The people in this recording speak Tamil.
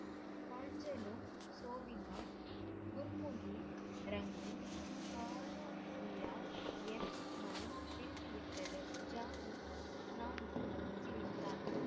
குர்முகி ரங்கி என் மனம் திருந்திவிட்டது ஜானு நான்கு சிரித்தாள்,